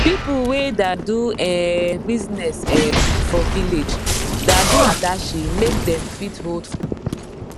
pipu wey da do um business um for village da do adashi make dem fit hold funds